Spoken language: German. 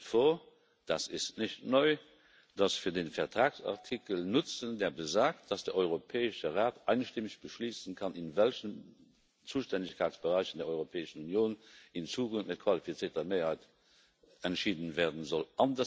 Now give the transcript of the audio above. Mir schwebt vor das ist nicht neu dass wir den Vertragsartikel nutzen, der besagt, dass der Europäische Rat einstimmig beschließen kann, in welchen Zuständigkeitsbereichen der Europäischen Union in Zukunft mit qualifizierter Mehrheit entschieden werden soll.